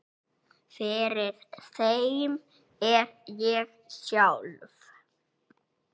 Fyrir þeim er ég sjálf